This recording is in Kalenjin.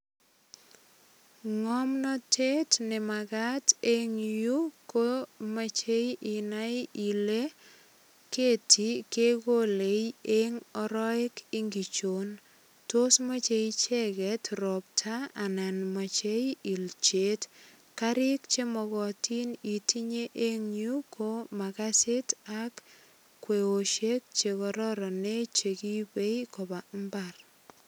Ngomnatet ne magat eng yu ko mochei inai ile keti kekole eng arowek ingichon? Tos moche icheget ropta anan moche ilchet. Karik chemogotin itinye eng yu ko makasit ak kwosiek che kororonen che ribei imbar.